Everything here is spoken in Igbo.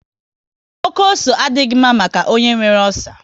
Oké ose adịghị mma maka onye nwere ọcer